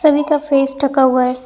छवि का फेस ढका हुआ है।